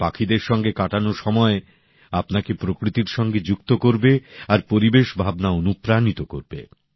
পাখিদের সঙ্গে সময় কাটানোর মধ্য দিয়ে আপনি প্রকৃতির সঙ্গে যুক্ত হবেন আর পরিবেশ ভাবনা আপনাকে অনুপ্রাণিত করবে